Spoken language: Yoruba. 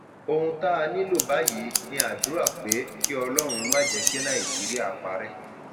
ohun tá a nílò báyìí ni àdúrà pé àdúrà pé kí ọlọrun má jẹ kí nàìjíríà parẹ